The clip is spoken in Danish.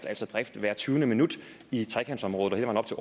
altså drift hvert tyvende minut i trekantområdet